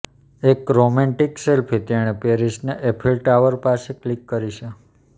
એક romantic selfie તેણે પેરિસના એફિલ ટાવર પાસે ક્લિક કરી છે